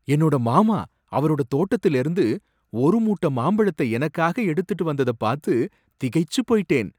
என்னோட மாமா அவரோட தோட்டத்துலேர்ந்து ஒரு மூட்ட மாம்பழத்தை எனக்காக எடுத்துட்டு வந்தத பாத்து திகைச்சு போய்ட்டேன்.